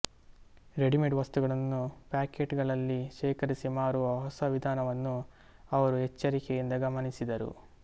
readymade ವಸ್ತುಗಳನ್ನು packet ಗಳಲ್ಲಿ ಶೇಖರಿಸಿ ಮಾರುವ ಹೊಸ ವಿಧಾನವನ್ನು ಅವರು ಎಚ್ಚರಿಕೆಯಿಂದ ಗಮನಿಸಿದರು